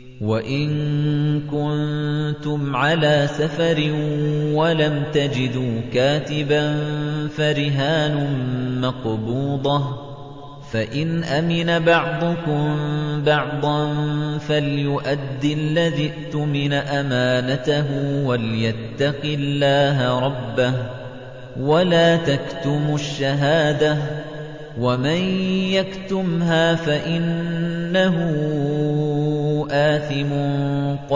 ۞ وَإِن كُنتُمْ عَلَىٰ سَفَرٍ وَلَمْ تَجِدُوا كَاتِبًا فَرِهَانٌ مَّقْبُوضَةٌ ۖ فَإِنْ أَمِنَ بَعْضُكُم بَعْضًا فَلْيُؤَدِّ الَّذِي اؤْتُمِنَ أَمَانَتَهُ وَلْيَتَّقِ اللَّهَ رَبَّهُ ۗ وَلَا تَكْتُمُوا الشَّهَادَةَ ۚ وَمَن يَكْتُمْهَا فَإِنَّهُ آثِمٌ